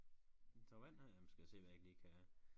En tår vand skal jeg se hvad jeg ikke lige kan